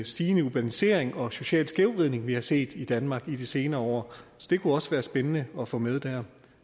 stigende urbanisering og sociale skævvridning vi har set i danmark i de senere år så det kunne også være spændende at få med der